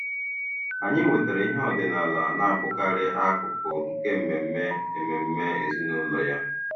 Anyị wetara ihe ọdịnala na-abụkarị akụkụ nke mmemme mmemme ezinụlọ ya.